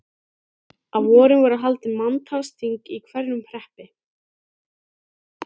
Á vorin voru haldin manntalsþing í hverjum hreppi.